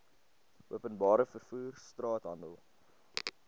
openbare vervoer straathandel